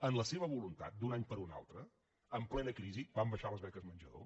en la seva voluntat d’un any per un altre en plena crisi van baixar les beques menjador